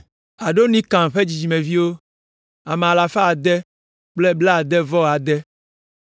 Adonikam ƒe dzidzimeviwo, ame alafa ade kple blaade-vɔ-ade (666).